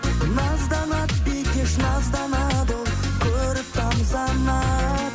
назданады бикеш назданады ол көріп тамсанады